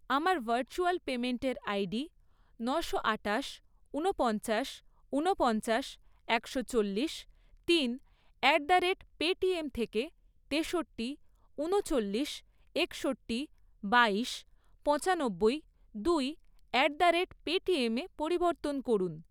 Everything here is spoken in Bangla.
আমার ভার্চুয়াল পেইমেন্টের আইডি নশো আটাশ, ঊনপঞ্চাশ, ঊনপঞ্চাশ, একশো চল্লিশ, তিন অ্যাট দ্য রেট পেটিএম থেকে তেষট্টি, ঊনচল্লিশ, একষট্টি, বাইশ, পঁচানব্বই, দুই অ্যাট দ্য রেট পেটিএমে পরিবর্তন করুন।